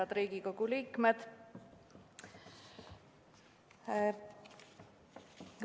Head Riigikogu liikmed!